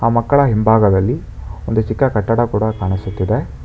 ಆ ಮಕ್ಕಳ ಹಿಂಭಾಗದಲ್ಲಿ ಒಂದು ಚಿಕ್ಕ ಕಟ್ಟಡ ಕೊಡ ಕಾಣಿಸುತ್ತಿದೆ.